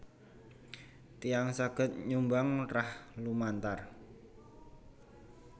Tiyang saged nyumbang rah lumantar